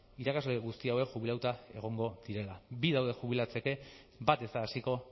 irakasle guzti hauek jubilatuta egongo direla bi daude jubilatzeke bat ez da hasiko